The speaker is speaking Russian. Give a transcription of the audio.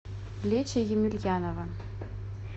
лечя емельянова